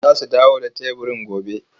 Za su dawo da teburin gobe,